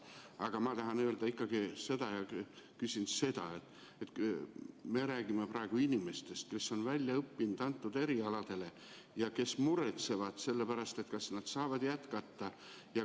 Aga ma tahan ikkagi öelda seda, et me räägime inimestest, kes on nendel erialadel välja õppinud ja kes muretsevad, kas nad saavad jätkata.